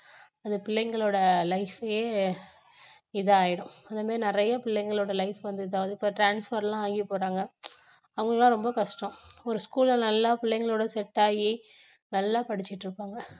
அது பிள்ளைங்களோட life அயே இது ஆயிடும் அந்த மாதிரி நிறைய பிள்ளைங்களோட life வந்து இதாகுது இப்போ transfer லாம் ஆகி போறாங்க அவங்க எல்லாம் ரொம்ப கஷ்டம் ஒரு school ல நல்லா புள்ளைங்களோட set ஆகி நல்லா படிச்சிட்டு இருப்பாங்க